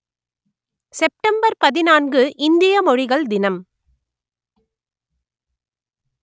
September பதினான்கு இந்திய மொழிகள் தினம்